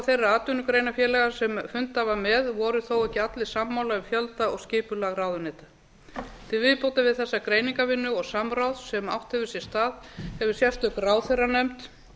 þeirra atvinnugreinafélaga sem fundað var með voru þó ekki allir sammála um fjölda og skipulag ráðuneyta til viðbótar við þessa greiningarvinnu og samráð sem átt hefur sér stað hefur sérstök ráðherranefnd